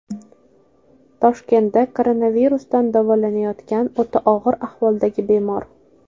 Toshkentda koronavirusdan davolanayotgan o‘ta og‘ir ahvoldagi bemor.